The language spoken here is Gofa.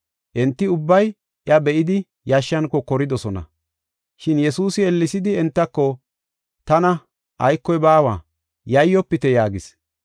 Enti ubbay iya be7idi, yashshan kokoridosona. Shin Yesuusi ellesidi entako, “Tana, aykoy baawa; yayyofite” yaagis.